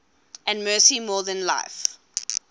and mercy more than life